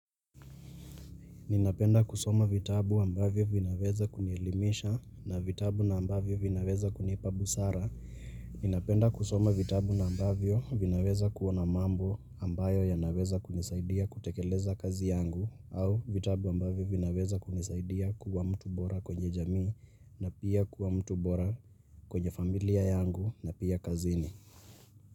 Ninapenda kusoma vitabu ambavyo vinaweza kunielimisha na vitabu na ambavyo vinaweza kunipa busara. Ninapenda kusoma vitabu na ambavyo vinaweza kua na mambo ambayo yanaweza kunisaidia kutekeleza kazi yangu au vitabu ambavyo vinaweza kunisaidia kuwa mtu bora kwenye jamii na pia kuwa mtu bora kwenye familia yangu na pia kazini.